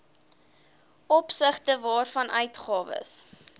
opsigte waarvan uitgawes